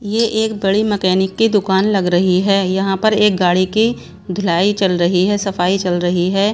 यह एक बड़ी मैकेनिक की दुकान लग रही है यहां पर एक गाड़ी की धुलाई चल रही है सफाई चल रही है।